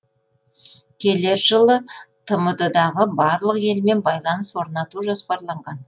келер жылы тмд дағы барлық елмен байланыс орнату жоспарланған